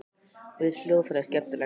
Mér finnst hljóðfræði skemmtileg.